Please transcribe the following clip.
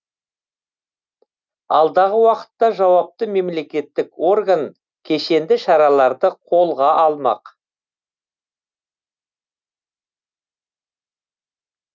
алдағы уақытта жауапты мемлекеттік орган кешенді шараларды қолға алмақ